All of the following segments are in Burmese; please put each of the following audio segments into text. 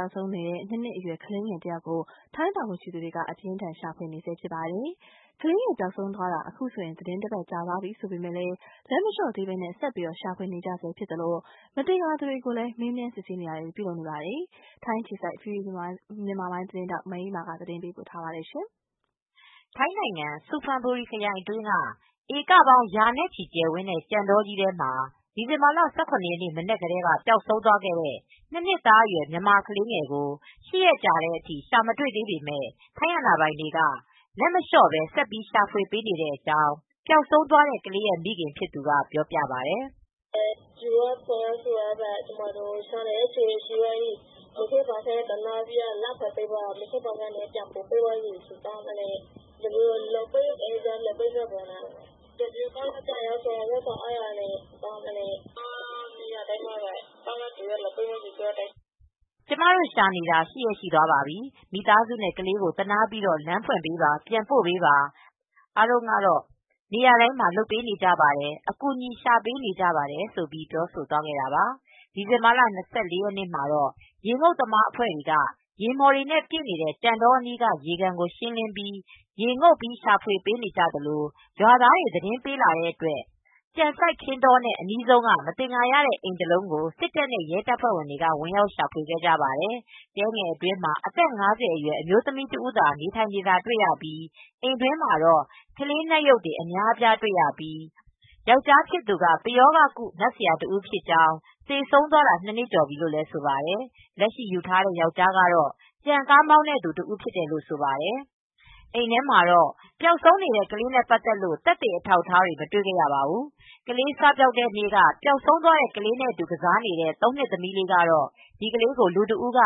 ောက်ဆုံးနေတဲ့ ၂နှစ်အရွယ် ကလေးငယ်တဦးကို ထိုင်းတာဝန်ရှိသူတွေက အပြင်းအထန် ရှာဖွေနေပါတယ်။ ကလေးငယ် ပျောက်ဆုံးသွားတာ အခုဆိုရင် သီတင်းတပတ် ကြာသွားပြီဖြစ်ပေမယ့်လည်း လက်မလျှော့သေးဘဲ ဆက်ပြီး ရှာဖွေ နေကြဆဲဖြစ်သလို မသင်္ကာသူတွေကို မေးမြန်း စစ်ဆေးတာတွေလည်း လုပ်နေပါတယ်။ ဒီအကြောင်း ဗွီအိုအေ ထိုင်းအခြေစိုက် သတင်းထောက် မအေးအေးမာက သတင်းပေးပို့ထားပါတယ်။ ထိုင်းနိုင်ငံ ဆူဖန်ဘူရီခရိုင် အတွင်းက ဧကပေါင်းရာနဲ့ချီ ကျယ်ဝန်းတဲ့ ကြံတောထဲမှာ ဒီဇင်ဘာလ ၁၇ ရက်မနက်ကတဲက ပျောက်ဆုံးသွားခဲတဲ့ ၂ နှစ်သားအရွယ် မြန်မာကလေးငယ်ကို ၈ ရက်ကြာတဲ့အထိ ရှာမတွေသေးပေးမဲ့ ထိုင်းအာဏာပိုင်တွေက လက်မလျောပဲ့ဆက်ပြီးရှာဖွေနေတဲ့အကြောင်း ပျောက်ဆုံးသွားတဲ့ ကလေးရဲ့မိခင်ဖြစ်သူကပြောပြပါတယ်။ "ကျမတို့ရှာနေတာ ၈ ရက်ရှိသွားပြီ မိသားစုနဲ့ ကလေးကိုသနားပြီးတော့ လမ်းဖွင့်ပေးပါ ပြန်ပို့ပေးပါ အားလုံးကတော့ နေရာတိုင်းမှာ လုပ်ပေးကြမယ်အကူညီပေးရှားပေးကြပါတယ် " ဒီဇင်ဘာလ ၂၄ ရက်နေ့မှာ ရေငုတ်သမား ရှာဖွေရေးအဖွဲ့တွေဟာ ရေမှော်တွေပြည့်နေတဲ့ ကြံတောအနီးက ရေကန်ကို ရှင်းလင်းပြီး ရေငုတ်ရှာနေကြသလို၊ရွာသားတွေသတင်းပေးလာတဲ့အတွက ် ကြံစိုက်ခင်းတောနဲ့အနီးဆုံး က မသင်္ကာတဲ့ အိမ်တစ်လုံးကို စစ်တပ်နဲ့ ရဲတပ်ဖွဲ့တွေက ဝင်ရောက်ရှာဖွေကြပါတယ်။ တဲငယ်အတွင်းမှာ အသက် (၅၀) အမျိုးသမီးတစ်ဦးသာနေထိုင်နေတာတွေ့ရြှိပီး အိမ်းတွင်းမှာ ကလေးနတ်ရုပ်တွေ အများအပြားတွေရပြီး ယောက်ကျားဖြစ်သူ ပရောဂကု နတ်ဆရာတဦးဖြစ်ကြောင်း သေဆုံးသွားတာ ၂ နှစ်ကျော်ပြီလို့ ဆိုပါတယ်။ လက်ရှိယူထားတဲ့ယောက်ကျားကတော့ ကြံကားမောင်းတဲ့သူတဦးဖြစ်တယ်လို့ဆိုပါတယ်။အိမ်ထဲမှာတော့ ပျောက်ဆုံးနေတဲ့ ကလေးနဲ့ ပတ်သက်လို့ သက်သေအထောက်အထောက်အထားတွေ မတွေ့ခဲ့ရပါဘူး။ ကလေစပျောက်တဲ့နေ့က ပျောက်ဆုံးတဲ့ ကလေးနဲ့ အတူကစားနေတဲ့ သုံးနှစ်သမီးလေးက တော့ ဒီကလေးကို လူတဦးက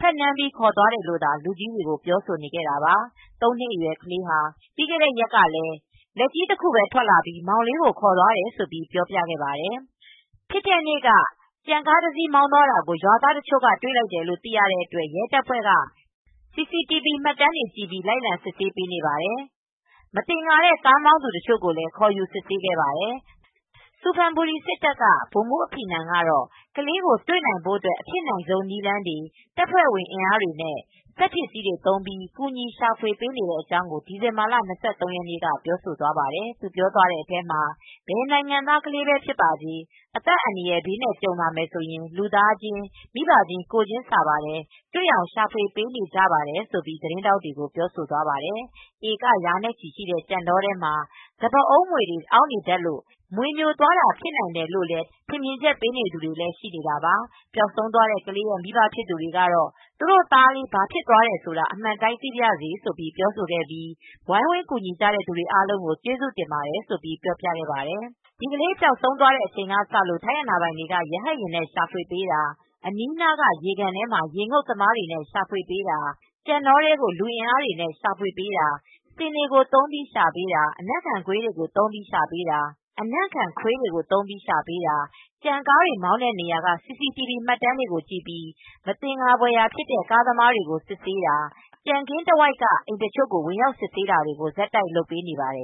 ဖက်နမ်းပြီးခေါ်သွားတယ်လို့သာ လူကြီးတွေကိုပြောနေတာပါ။ ၃နှစ်အရွယ် ကလေးဟာ ပြီးခဲ့တဲ့ ရက်ကလည်း လက်ကြီးတခုပဲ ထွက်ပြီး မောင်လေးကို ခေါ်သွားတယ်လို့လည်းပြောပြတာပါ။ ဖြစ်တဲ့နေ့က ကြံကားတစ်စီး မောင်းသွားတာကို ရွာသားတစ်ချို့ကတွေ့လိုက်တယ်လို့ သိရတော့ ရဲတပ်ဖွဲ့က CCTV မှတ်တမ်းတွေလိုက်လံ စစ်ဆေးပေးနေပါတယ်။ မသင်္ကာတဲ့ ကြံကားမောင်းသူတချိုကိုလည်းခေါ်ယူစစ်ဆေးခဲ့ပါတယ်။ ဆူဖန်ဘူရီ စစ်တပ်က ဗိုလ်မှူး အဖိနမ် ကတော့ ခလေးကိုတွေ့နိုင်ဖို့ အဖြစ်နိုင်ဆုံးနည်းလမ်းတွေ တပ်ဖွဲ့အင်အားနဲ့ စက်ပစ္စည်းတွေသုံးပြီး ကူညီရှာဖွေပေးနေတဲ့အကြောင်း ဒီဇင်ဘာလ ၂၃ရက်နေ့က ပြောသွားပါတယ်။ သူသွားပြောတဲ့အထဲမှာ ဘယ်နိုင်ငံသားကလေးပဲဖြစ်ပါစေ ၊အသက်အန္တရယ်ဘေးကြုံလာရင် လူသားချင်း မိဘချင်း ကိုယ်ချင်းစာပါတယ် ။ တွေ့အောင်ရှာဖွေပေးနေကြပါတယ်လို့ သတင်းထောက်တွေကို ပြောဆိုသွားပါတယ်။ ဧက ရာနဲ့ချီရှိတဲ့ကြံတောထဲမှာ စပါးအုံးမြွေတွေအောင်းနေတတ်လို့ မြွေမြိုသွားတာဖြစ်နိုင်တယ်လို့လည်း ထင်မြင်ချက်တွေပေးနေကြသူတွေလည်းရှိနေတာပါ။ပျောက်ဆုံးသွားတဲ့ ကလေးရဲ့မိဘဖြစ်သူတွေကတော့ သူတို့သားလေးဘာဖြစ်သွားတယ်ဆိုတာ အမှန်တိုင်း သိပါရစေ လို့ပြောဆိုခဲ့ပြီး ဝိုင်းဝန်းကူညီကြတဲ့ သူတွေအားလုံးကျေးဇူးတင်ပါတယ်လို့ ပြောပြခဲ့ပါတယ်။ ဒီကလေးပျောက်ဆုံးခဲ့တဲ့အချိန်ကစလို့ထိုင်းအာဏာပိုင်တွေက ရဟတ်ယာဉ်နဲ့ ရှာဖွေပေးတာ ၊ အနီးနာက ရေကန်ထဲမှာ ရေငုတ်သမားတွေနဲ့ ရှာဖွေပေးတာ၊ ကြံတောထဲကိုလူအင်အားတွေနဲ့ ရှာဖွေပေးတာ ဆင်တွေကိုသုံးပြီး ရှာပေးတာ၊ အနံ့ခံခွေးတွေကိုသုံးပြီးရှာပေးတာ၊ ကြံကားတွေမောင်းတဲ့နေရာကCCTV မှတ်တမ်းတွေကိုကြည့်ပြီး မသင်္ကာဖွယ်ရာ ဖြစ်တဲ့ ကားသမားတွေကို စစ်ဆေးတာ ကြံခင်းတဝိုက်က အိမ်တချို့ကို ဝင်ရောက်စစ်ဆေးတာတွေကို ဆက်တိုက်လုပ်ပေးနေပါတယ်